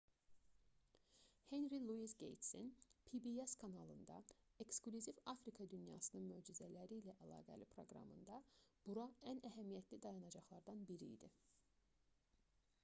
henri luis qeytsin pbs kanalında eksklüziv afrika dünyasının möcüzələri ilə əlaqəli proqramında bura ən əhəmiyyətli dayanacaqlardan biri idi